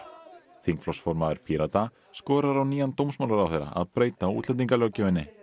þingflokksformaður Pírata skorar á nýjan dómsmálaráðherra að breyta útlendingalöggjöfinni